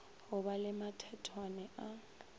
go ba le mathethwane a